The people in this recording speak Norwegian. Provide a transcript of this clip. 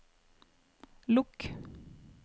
lukk